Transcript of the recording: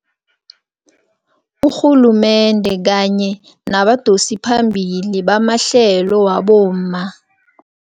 Urhulumende kanye nabadosiphambili bamahlelo wabomma.